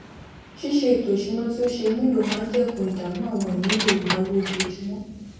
ṣíṣe ètò ìṣúná tí ó ṣe é mú lò máa n dẹkun ìdààmú àwọn ìnílò ìnáwó ojoojúmọ